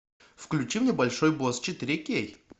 включи мне большой босс четыре кей